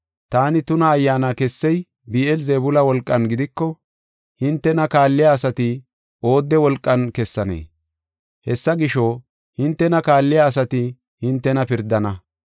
Taani tuna ayyaana kessey Bi7eel-Zebuula wolqan gidiko hintena kaalliya asati oodde wolqan kessannee? Hessa gisho, hintena kaalliya asati hintena pirdana.